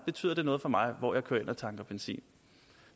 betyder noget for mig hvor jeg kører hen og tanker benzin